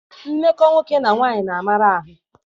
Mmekọ nwoke na nwaanyị na-amara ahụ.